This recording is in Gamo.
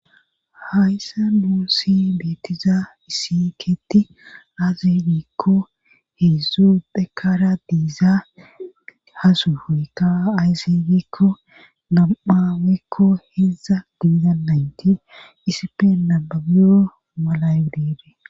hayssa nuusi beetiza isiketi axe gikko heedzdzu phekara diiza hasuhuykka aysigikko nam7awekko heza diiza naynti isife nababiyo mala dire